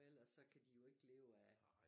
For ellers kan de jo ikke leve af